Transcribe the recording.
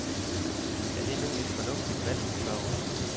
Er det nu et fornuftigt valg, spørger hun.